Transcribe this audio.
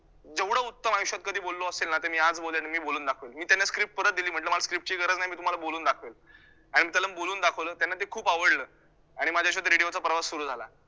जेवढं उत्तम आयुष्यात कधी बोललो असेल ना ते मी आज बोलेलं आणि मी बोलून दाखवेलं मी त्यांना scipt परत दिली म्हटलं मला script ची गरज नाही मी तुम्हाला बोलून दाखवेल आणि मी त्यांना बोलून दाखवलं, त्यांना ते खूप आवडलं आणि माझ्या आयुष्यात radio चा प्रवास सुरू झाला.